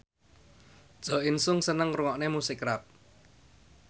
Jo In Sung seneng ngrungokne musik rap